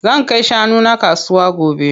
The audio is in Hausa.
Zan kai shanu na kasuwa gobe.